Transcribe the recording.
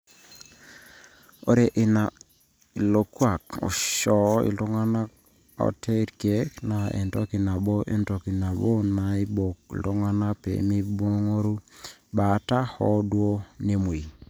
ore ina ilokuaak oisho iltung'anak ote irkeek na entoki nabo entoki nabo naaibok oltung'ani pee meingoru baata hoo duoo nemwei